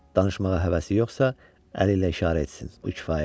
Danışmağa həvəsi yoxsa, əli ilə işarə etsin, bu kifayətdir.